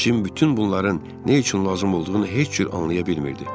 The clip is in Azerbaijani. Cim bütün bunların nə üçün lazım olduğunu heç cür anlaya bilmirdi.